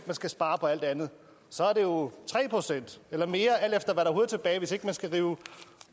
man skal spare på alt det andet så er det jo tre procent eller mere alt efter hvad der overhovedet er tilbage hvis ikke man skal rive